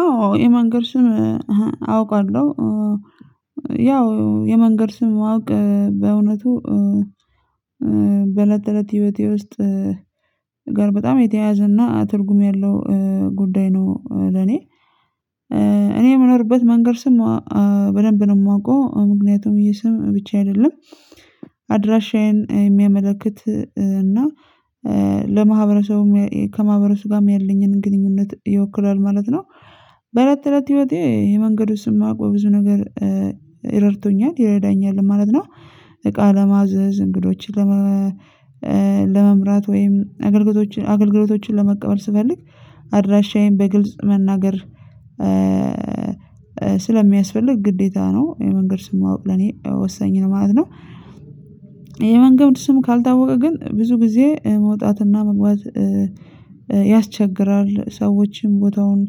አዎ የመንገድ ስም አውቃለሁ። ያው የመንገድ ስም ማወቅ በእውነቱ በለት ተለት ህይወቴ ውስጥ ጋር በጣም የተያያዘ እና ትርጉም ያለው ጉዳይ ነው። ለኔ እኔ የምኖርበት መንገድ ስም በደንብ ነው ማውቀው ምክንያቱም ይሄ ስም ብቻ አይደለም አድራሻዬን የሚያመላክት እና ለማህበረሰቡም ከማህበረሰቡም ጋም ያለኝን ግንኙነት ይወክላል ማለት ነው። በእለት ተለት ህይወቴ የመንገዱን ስም ማወቅ በብዙ ነገር እረድቶኛል ይረዳኛልም ማለት ነው። እቃ ለማዘዝ እንግዶችን ለማ ለመምራት ወይም አገልግሎቶችን አገልግሎቶችን ለመቀበል ስፈልግ አድራሻዬን በግልጽ መናገር ስለሚያስፈልግ ግዴታ ነው። የመንገድ ስም ማወቅ ለኔ ወሳኝ ነው ማለት ነው። የመንገድ ስም ካልታወቀ ግን ብዙ ጊዜ መውጣትና መግባት ያስቸግራል ሰዎችን ቦታውን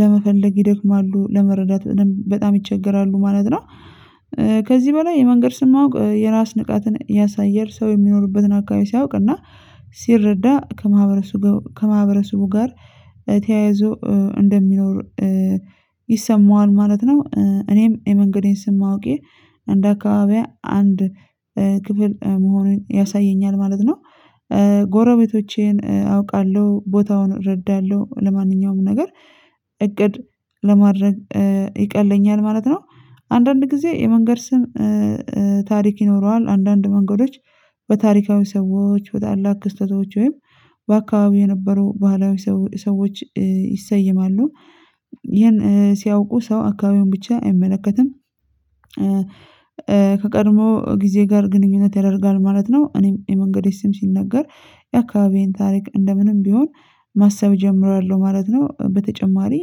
ለመፈለግ ይደክማሉ ለመረዳት በጣም ይቸገራሉ ማለት ነው። ከዚህ በላይ የመንገድ ስም ማወቅ የራስ ንቃትን ያሳያል ሰው የሚኖርበትን አካባቢ ሲያውቅና ሲረዳ ከማህበረሰቡ ጋር ተያይዞ እንደሚኖር ይሰማዋል ማለት ነው። እኔም የመንገዴን ስም ማወቄ እንደ አካባቢዬ አንድ ክፍል መሆኑን ያሳየኛል ማለት ነው። ጎረቤቶቼን አውቃለሁ ቦታውን እረዳለሁ ለማንኛውም ነገር እቅድ ለማድረግ ይቀለኛል ማለት ነው። አንዳንድ ጊዜ የመንገድ ስም ታሪክ ይኖረዋል አንዳንድ መንገዶች በታሪካዊ ሰዎች በታላቅ ክስተቶች ወይም በአካባቢው የነበረው ባህላዊ ሰዎች ይሰየማሉ። ይሄን ሲያውቁ ሰው አካባቢውን ብቻ አይመለከትም ከቀድሞ ጊዜ ጋር ግንኙነት ያደርጋል ማለት ነው። እኔም የመንገዴ ስም ሲነገር የአካባቢዬን ታሪክ እንደ ምንም ቢሆን ማሰብ እጀምራለሁ ማለት ነው። በተጨማሪ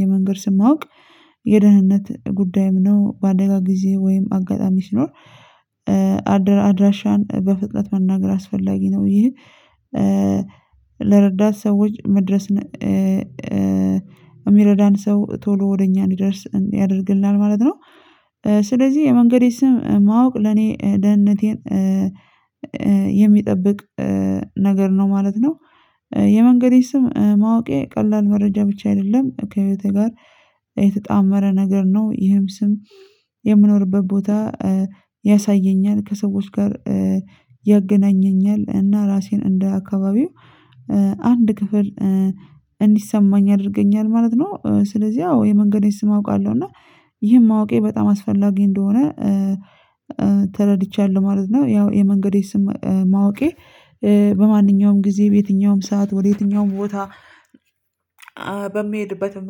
የመንገድ ስም ማወቅ የደህንነት ጉዳይም ነው። በአደጋ ጊዜ ወይም አጋጣሚ ሲኖር አድራሻን በፍጥነት መናገር አስፈላጊ ነው። ይህ ለረዳት ሰዎች መድረስን እሚረዳን ሰው ቶሎ ወደ እኛ እንዲደርስ ያደርግልናል ማለት ነው። ስለዚህ የመንገዴ ስም ማወቅ ለኔ ደህንነቴን የሚጠብቅ ነገር ነው ማለት ነው። የመንገዴን ስም ማወቄ ቀላል መረጃ ብቻ አይደለም ከህይወቴ ጋር የተጣመረ ነገር ነው። ይህም ስም የምኖርበት ቦታ ያሳየኛል ከሰዎች ጋር ያገናኘኛል እና ራሴን እንደ አካባቢው አንድ ክፍል እንዲሰማኝ ያደርገኛል ማለት ነው። ስለዚህ ያው የመንገዴን ስም አውቃለሁ እና ይህን ማወቄ በጣም አስፈላጊ እንደሆነ ተረድቻለሁ ማለት ነው። ያው የመንገዴን ስም ማወቄ በማንኛውም ጊዜ በየትኛውም ሰዓት ወደ የትኛውም ቦታ በምሄድበትም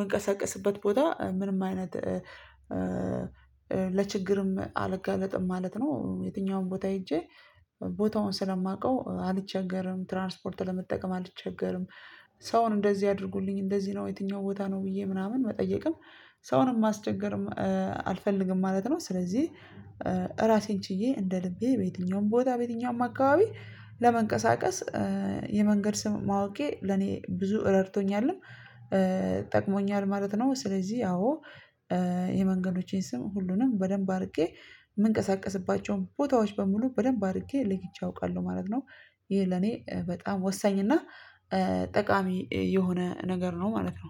ምንቀሳቀስበት ቦታ ምንም አይነት ለችግርም አልጋለጥም ማለት ነው። የትኛውም ቦታ ሄጄ ቦታውን ስለማውቀው አልቸገርም። ትራንስፖርት ለመጠቀም አልቸገርም። ሰውን እንደዚህ አድርጉልኝ እንደዚህ ነው የትኛው ቦታ ነው ብዬ ምናምን መጠየቅም ሰውንም ማስቸገርም አልፈልግም ማለት ነው። ስለዚህ ራሴን ችዬ እንደ ልቤ በየትኛውም ቦታ በየትኛውም አካባቢ ለመንቀሳቀስ የመንገድ ስም ማወቄ ለኔ ብዙ ረድቶኛልም ጠቅሞኛል ማለት ነው። ስለዚህ አዎ የመንገዶቼን ስም ሁሉንም በደንብ አድርጌ ምንቀሳቀስባቸውም ቦታዎች በሙሉ በደንብ አድርጌ ለይቼ አውቃለሁ ማለት ነው። ይህ ለኔ በጣም ወሳኝ እና ጠቃሚ የሆነ ነገር ነው ማለት ነው